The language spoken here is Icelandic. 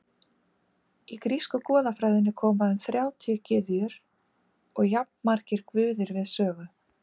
í grísku goðafræðinni koma um þrjátíu gyðjur og jafnmargir guðir við sögu